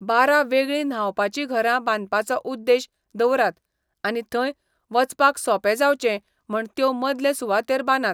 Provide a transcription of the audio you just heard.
बारा वेगळीं न्हावपाचीं घरां बांदपाचो उद्देश दवरात आनी थंय वचपाक सोंपें जावचें म्हण त्यो मदले सुवातेर बांदात.